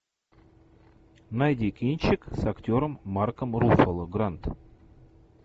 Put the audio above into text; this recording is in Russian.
найди кинчик с актером марком руффало гранд